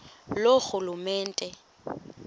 loorhulumente